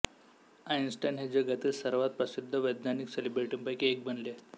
Einstein हे जगातील सर्वात प्रसिद्ध वैज्ञानिक सेलिब्रिटींपैकी एक बनले